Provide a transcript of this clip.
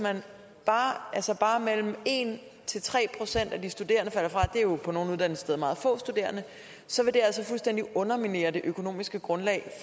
bare mellem en tre procent af de studerende falder fra det er jo på nogle uddannelsessteder meget få studerende så vil det altså fuldstændig underminere det økonomiske grundlag